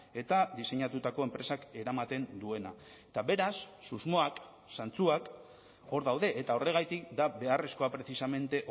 eta diseinatutako enpresak eramaten duena eta beraz susmoak zantzuak hor daude eta horregatik da beharrezkoa precisamente